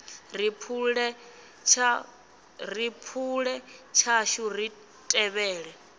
ri phule tshashu ri tevhele